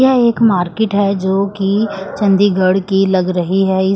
यह एक मार्केट है जोकि चंडीगढ़ की लग रही है।